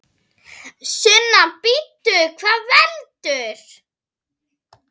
Sunna: Bíddu, hvað veldur?